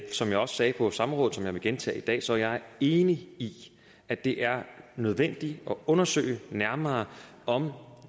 som jeg også sagde på samrådet og som jeg vil gentage i dag så er jeg enig i at det er nødvendigt at undersøge nærmere om